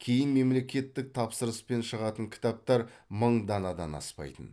кейін мемлекеттік тапсырыспен шығатын кітаптар мың данадан аспайтын